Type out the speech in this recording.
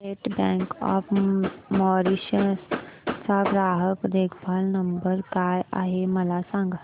state Bank of Mauritius चा ग्राहक देखभाल नंबर काय आहे मला सांगा